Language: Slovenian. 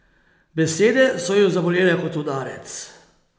Besede so jo zabolele kot udarec.